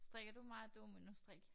Strikker du meget dominostrik?